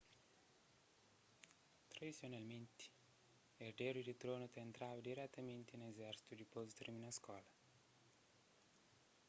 tradisionalmenti erderu di tronu ta entraba diretamenti na izérsitu dipôs di tirmina skola